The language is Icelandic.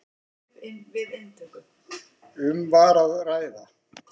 Um var að ræða